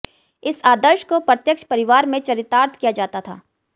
इस आदर्श को प्रत्यक्ष परिवार में चरितार्थ किया जाता था